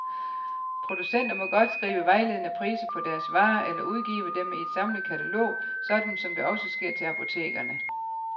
Producenter må godt skrive vejledende priser på deres varer eller udgive dem i et samlet katalog, sådan som det også sker til apotekerne.